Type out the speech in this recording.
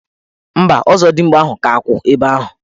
Mba, ọzọdimgba ahụ ka kwụ ebe ahụ.